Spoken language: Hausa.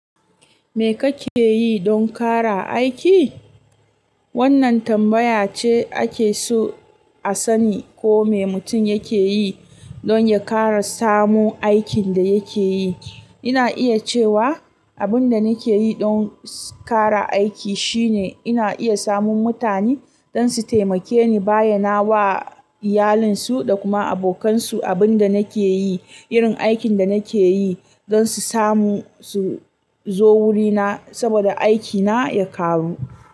Me kake yi don ƙara aiki? Wannan tambaya ce ake so a sani ko me mutum yake yi don ya ƙara samun aikin da yake yi. Ina iya cewa abin da nake yi don ƙara aiki shine ina iya samun mutane don su taimake ni bayyana wa iyalinsu da kuma abokansu abin da nake yi, irin aikin da nake yi don su samu su zo wurina saboda aikina ya ƙaru.